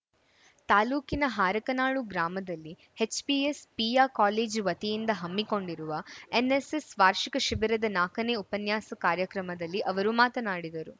ತಾಲೂಕಿನ ಹಾರಕನಾಳು ಗ್ರಾಮದಲ್ಲಿ HPS PU college ವತಿಯಿಂದ ಹಮ್ಮಿಕೊಂಡಿರುವ ಎನ್‌ಎಸ್‌ಎಸ್‌ ವಾರ್ಷಿಕ ಶಿಬಿರದ ನಾಕನೇ ಉಪನ್ಯಾಸ ಕಾರ್ಯಕ್ರಮದಲ್ಲಿ ಅವರು ಮಾತನಾಡಿದರು